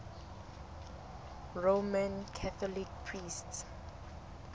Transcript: roman catholic priests